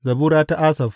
Zabura ta Asaf.